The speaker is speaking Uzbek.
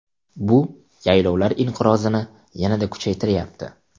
Bu yaylovlar inqirozini yanada kuchaytiryapti.